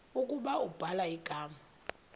ukuba ubhala igama